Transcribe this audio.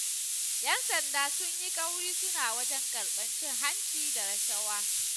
Yan sanda sun yi ƙaurin suna wajen karɓar cin hanci da rashawa.